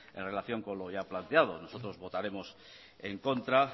en relación con lo ya planteado nosotros votaremos en contra